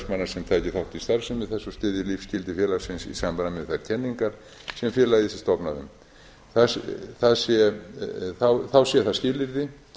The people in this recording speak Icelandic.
félagsmanna sem taki þátt í starfsemi þess og styðji lífsgildi félagsins í samræmi við þær kenningar sem félagið sé stofnað um þá sé það skilyrði